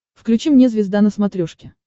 включи мне звезда на смотрешке